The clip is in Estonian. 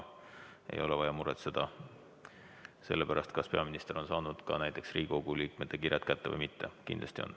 Ei ole vaja muretseda ka näiteks selle pärast, kas peaminister on saanud Riigikogu liikmete kirjad kätte või mitte – kindlasti on.